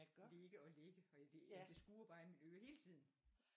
Ligge og lægge og det det skurer bare i mit øre hele tiden